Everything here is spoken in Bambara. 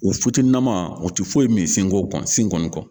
U naman u tɛ foyi min senko kɔnɔn sen kɔni